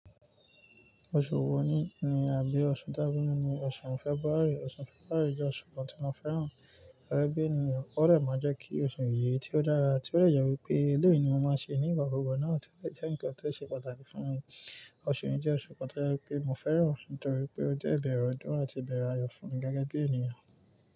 Oṣù wo ni ni àbí oṣù tábọ̀ ni ni oṣù Fẹ́buári? Oṣù Fẹ́bàárù jẹ́ oṣù kan tí mo fẹ́ràn, gẹ́gẹ́ bí ènìyàn. Ó dẹ̀ máa jẹ́ kí oṣù yìí tí ó dára, tí ó dẹ̀ yàwí pé eléyìí ni mo máa ṣe ní ìgbà gbogbo náà tí ó jẹ́ nǹkan tó ṣe pàtàkì fún mi. Oṣù yìí jẹ́ oṣù kan tí mo fẹ́ràn nítorí pé ó jẹ́ ìbẹ̀rẹ̀ ọdún àti ìbẹ̀rẹ̀ ayọ̀ fún mi gẹ́gẹ́ bí ènìyàn.